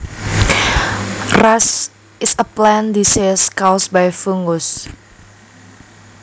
Rust is a plant disease caused by fungus